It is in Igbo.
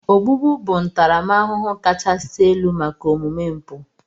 Ogbugbu bụ ntaramahụhụ kachasị elu maka omume mpụ.